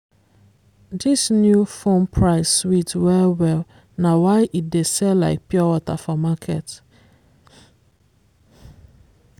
dis new phone price sweet well-well na why e dey sell like pure water for market.